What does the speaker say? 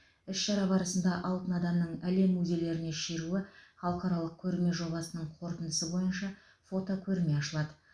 іс шара барысында алтын адамның әлем музейлеріне шеруі халықаралық көрме жобасының қорытындысы бойынша фотокөрме ашылады